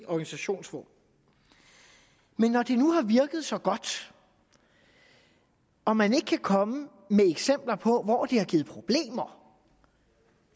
organisationsform men når det nu har virket så godt og man ikke kan komme med eksempler på hvor det har givet problemer